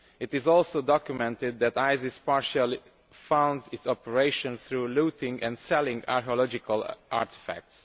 It is also documented that IS partially funds its operations through looting and selling archaeological artefacts.